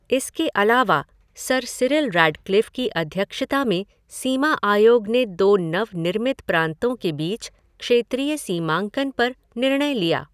इसके अलावा, sir Cyril Radcliffe की अध्यक्षता में सीमा आयोग ने दो नव निर्मित प्रांतों के बीच क्षेत्रीय सीमांकन पर निर्णय लिया।